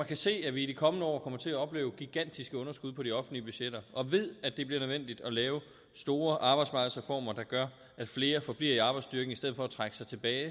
kan se at vi i de kommende år kommer til at opleve gigantiske underskud på de offentlige budgetter og ved at det bliver nødvendigt at lave store arbejdsmarkedsreformer der gør at flere forbliver i arbejdsstyrken i stedet for at trække sig tilbage